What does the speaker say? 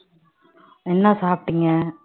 என்ன சாப்பிட்டீங்க